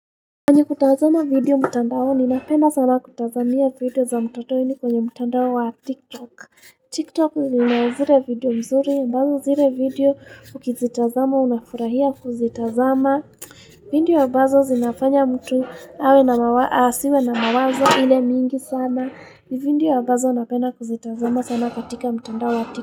Kwenye kutazama video mtandaoni, napenda sana kutazamia vitu za mtotoni kwenye mtandao wa tiktok Tiktok zina zile video mzuri, ambazo zile video ukizitazama unafurahia kuzitazama mchh Vindio ambazo zinafanya mtu awe na mawa asiwe na mawazo ile mingi sana iv Vindio ambazo napenda kuzitazama sana katika mtandao wa tiktok.